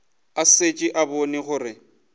a šetše a bone gore